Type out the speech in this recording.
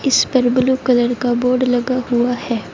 इस पर blue colour का बोर्ड लगा हुआ है।